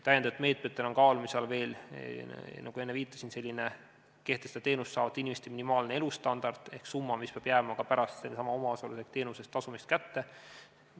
Lisameetmetena on kaalumisel veel see, nagu ma enne viitasin, et kehtestada teenuseid saavate inimeste minimaalne elustandard ehk summa, mis peab jääma inimesele kätte ka pärast sellesama omaosaluse ehk teenuse tasumist.